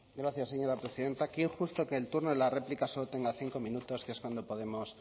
gracias señora presidenta qué injusto que el turno de la réplica solo tenga cinco minutos que es cuando podemos